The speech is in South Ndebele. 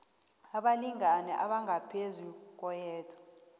abalingani abangaphezu koyedwa